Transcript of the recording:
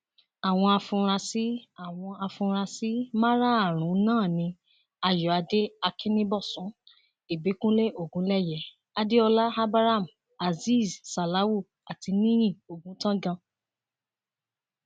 àwọn afurasí àwọn afurasí márààrún náà ni ayọadé akínníbọsùn ìbíkúnlẹ ogunléyé adéọlá abraham azeez salawu àti níyí ọgùntàngan